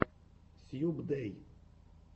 сьюбдэй